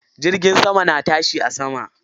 Jirgin sama na tashi a sama.